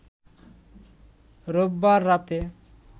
রোববার রাতে